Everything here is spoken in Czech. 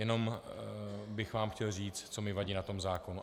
Jenom bych vám chtěl říct, co mi vadí na tom zákonu.